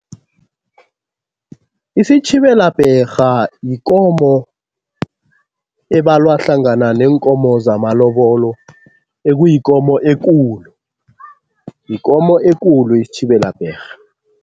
Isitjhibelabherha yikomo ebalwa hlangana neenkomo zamalobolo, ekuyikomo ekulu. Yikomo ekulu isitjhibelabherha.